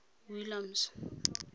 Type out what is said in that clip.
williams